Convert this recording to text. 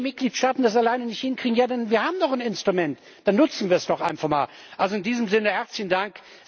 Wenn die Mitgliedstaaten das alleine nicht hinkriegen wir haben doch ein Instrument, dann nutzen wir es doch einfach mal! Also in diesem Sinne herzlichen Dank.